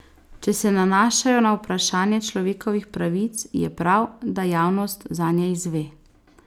Če se nanašajo na vprašanje človekovih pravic, je prav, da javnost zanje izve.